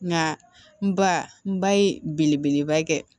Nka n ba n ba ye belebeleba kɛ